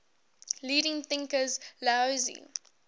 leading thinkers laozi